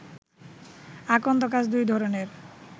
আকন্দ গাছ দুই ধরণের